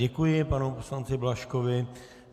Děkuji panu poslanci Blažkovi.